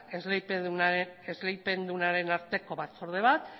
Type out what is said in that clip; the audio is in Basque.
esleipendunaren arteko batzorde bat